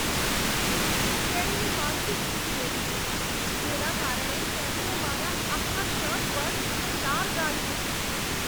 તેણીની માનસિક સ્થિતિ એવી છે જેના કારણે તેણીએ મારા આખા શર્ટ પર લાળ ગાળી હતી.